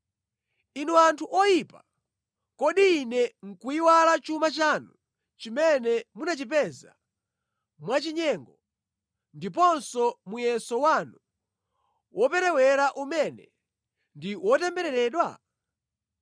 Inu anthu oyipa, kodi Ine nʼkuyiwala chuma chanu chimene munachipeza mwachinyengo, ndiponso muyeso wanu woperewera umene ndi wotembereredwa?